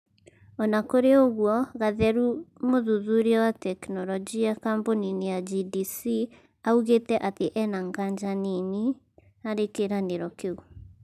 Ona kũrĩ ũgũo Gatheru, mũthuthuria wa tekinolojia kambuni-inĩ ya GDC augĩte atĩ ena ngaja nini harĩ kĩranĩro kĩu